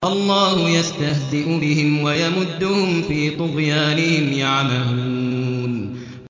اللَّهُ يَسْتَهْزِئُ بِهِمْ وَيَمُدُّهُمْ فِي طُغْيَانِهِمْ يَعْمَهُونَ